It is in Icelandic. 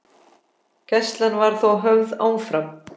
Gæsla var þó höfð áfram.